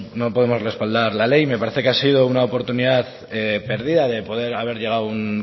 no podemos respaldar la ley me parece que ha sido una oportunidad perdida de poder haber llegado a un